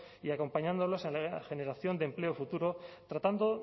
y acompañándolas en la generación de empleo futuro tratando